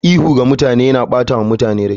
Ihu ga mutane yana ɓata wa mutane rai.